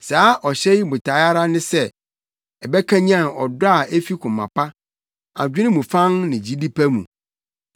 Saa ɔhyɛ yi botae ara ne sɛ ɛbɛkanyan ɔdɔ a efi koma pa, adwene mu fann ne gyidi pa mu.